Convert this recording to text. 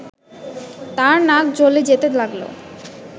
তার নাক জ্বলে যেতে লাগল